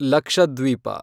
Lakshadweep